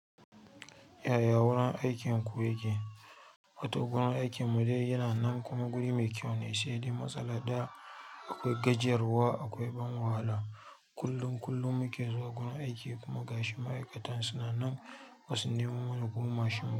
Yaya wurin aikinku yake? Wato wurin aikin mu dai yana nan kuma guri mai kyau ne, sai dai matsalar ɗaya akwai gajiyarwa akwai ban wahala. Kullum kullum muke zuwa gun aiki kuma gashi ma'aikatan suna nan basu nemo mana kuma mashin ba.